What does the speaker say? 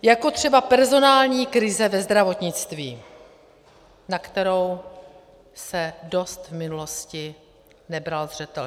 Jako třeba personální krize ve zdravotnictví, na kterou se dost v minulosti nebral zřetel.